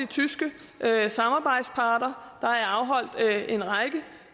tyske samarbejdspartnere der er afholdt en række